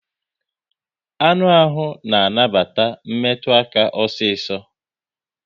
Anụ ahụ na anabata metụ aka osiso